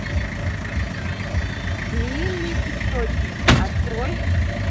змеиный источник открой